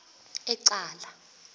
ecala